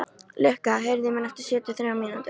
Lukka, heyrðu í mér eftir sjötíu og þrjár mínútur.